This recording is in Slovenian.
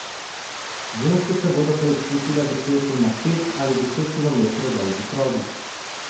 Ženske se bodo preizkusile v teku na pet ali deset kilometrov dolgi progi.